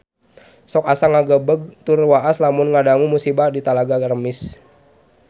Sok asa ngagebeg tur waas lamun ngadangu musibah di Talaga Remis